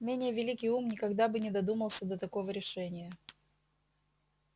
менее великий ум никогда бы не додумался до такого решения